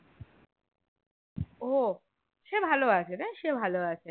ও সে ভালো আছে রে সে ভালো আছে